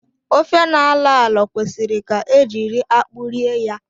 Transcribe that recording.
Ofe na-alọ alọ kwesịrị ka e jiri akpụ rie ya